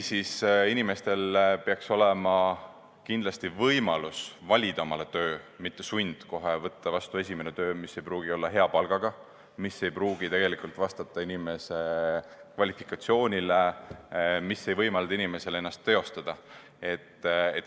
Inimestel peaks olema kindlasti võimalus ise endale tööd valida, mitte nii, et tal on sund võtta vastu kohe esimene töö, mis ei pruugi olla hea palgaga ega vastata tema kvalifikatsioonile või ei võimalda inimesel ennast teostada.